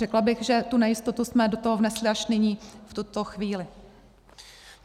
Řekla bych, že tu nejistotu jsme do toho vnesli až nyní, v tuto chvíli.